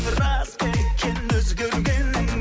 рас па екен өзгергенің